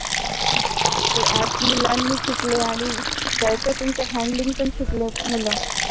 ते app मुलांनी शिकले आणि त्याच्यातून handling पण शिकलेत मुल